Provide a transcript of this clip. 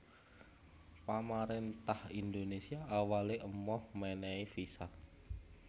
Pamaréntah Indonésia awalé emoh mènèhi visa